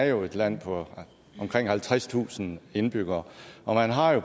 jo er et land på omkring halvtredstusind indbyggere og